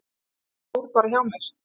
Ég fór bara hjá mér.